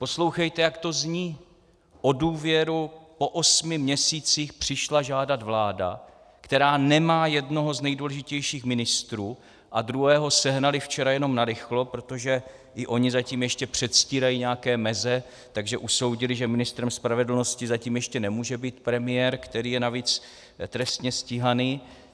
Poslouchejte, jak to zní: O důvěru po osmi měsících přišla žádat vláda, která nemá jednoho z nejdůležitějších ministrů, a druhého sehnali včera jenom narychlo, protože i oni zatím ještě předstírají nějaké meze, takže usoudili, že ministrem spravedlnosti zatím ještě nemůže být premiér, který je navíc trestně stíhaný.